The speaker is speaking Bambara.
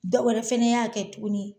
Dɔwɛrɛ fɛnɛ y'a kɛ tuguni